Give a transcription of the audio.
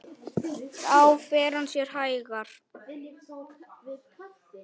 Þá fer hann sér hægar.